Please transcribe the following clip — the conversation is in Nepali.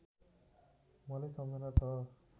मलाई सम्झना छ